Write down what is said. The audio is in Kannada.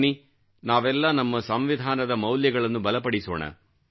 ಬನ್ನಿ ನಾವೆಲ್ಲಾ ನಮ್ಮ ಸಂವಿಧಾನದ ಮೌಲ್ಯಗಳನ್ನು ಬಲಪಡಿಸೋಣ